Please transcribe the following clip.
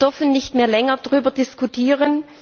Wir dürfen nicht mehr länger darüber diskutieren.